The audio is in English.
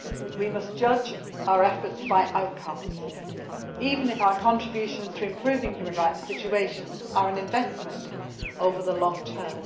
We must judge our efforts by outcomes, even if our contributions to improving human rights situations are an investment over the long term.